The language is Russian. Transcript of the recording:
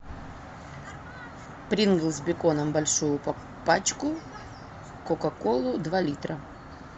принглс с беконом большую пачку кока колу два литра